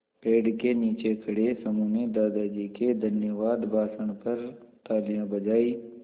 पेड़ के नीचे खड़े समूह ने दादाजी के धन्यवाद भाषण पर तालियाँ बजाईं